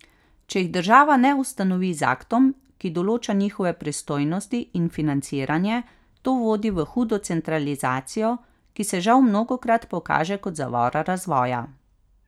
Če jih država ne ustanovi z aktom, ki določa njihove pristojnosti in financiranje, to vodi v hudo centralizacijo, ki se žal mnogokrat pokaže kot zavora razvoja.